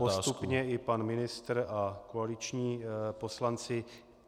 - postupně i pan ministr a koaliční poslanci.